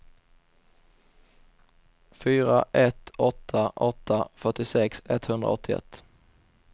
fyra ett åtta åtta fyrtiosex etthundraåttioett